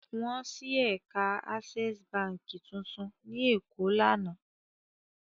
Wọ́n ṣí ẹ̀ka Access Báńkì tuntun ní Èkó lánàá.